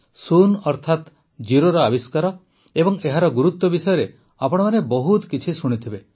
ଶୂନ ଅର୍ଥାତ ଜିରୋର ଆବିଷ୍କାର ଓ ଏହାର ଗୁରୁତ୍ୱ ବିଷୟରେ ଆପଣମାନେ ବହୁତ କିଛି ଶୁଣିଥିବେ